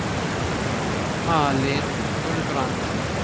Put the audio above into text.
Malin Gulbrandsen